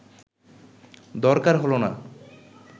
দরকার হল না